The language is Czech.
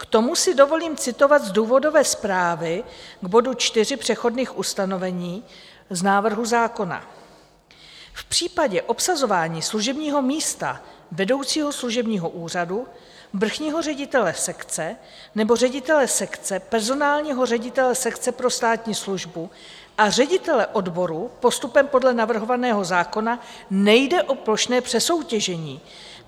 K tomu si dovolím citovat z důvodové zprávy k bodu 4 přechodných ustanovení z návrhu zákona: "V případě obsazování služebního místa vedoucího služebního úřadu, vrchního ředitele sekce nebo ředitele sekce, personálního ředitele sekce pro státní službu a ředitele odboru postupem podle navrhovaného zákona nejde o plošné přesoutěžení.